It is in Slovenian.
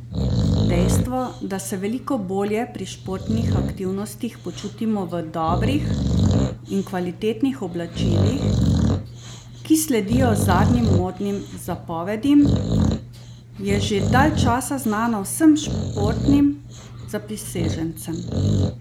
Dejstvo, da se veliko bolje pri športnih aktivnostih počutimo v dobrih in kvalitetnih oblačilih, ki sledijo zadnjim modnim zapovedim, je že dalj časa znano vsem športnim zaprisežencem!